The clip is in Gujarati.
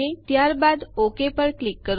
ત્યારબાદ ઓક પર ક્લિક કરો